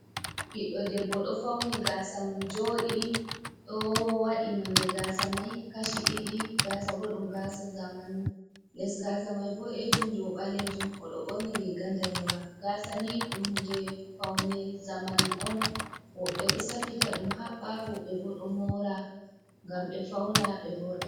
Ɓiɗɗo debbo ɗo fauni gasa mum joɗi, ɗo waɗi nonde gasa mai kashi ɗiɗi, gasa bo ɗum gasa zamanu, les gasa mai boɗejum, dou ɓalejum, oɗo ɓorni riga ndanewa. Gasa ni ɗum hunde faune zamanu on woɓɓe ɗo safita ɗum haɓɓa, woɓɓe bo ɗo moura ngam ɓe fauna, ɓe voɗa.